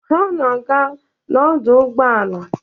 Ha na-aga n'ọdụ ụgbọala.